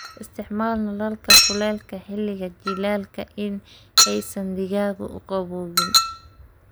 Isticmaal nalalka kulaylka xilliga jiilaalka si aysan digaaggu u qabowgin.